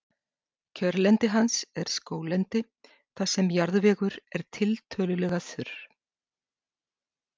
kjörlendi hans er skóglendi þar sem jarðvegur er tiltölulega þurr